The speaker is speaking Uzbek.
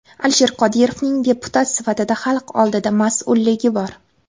Alisher Qodirovning deputat sifatida xalq oldida mas’ulligi bor.